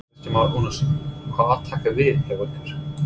Kristján Már Unnarsson: Hvað tekur við hjá ykkur?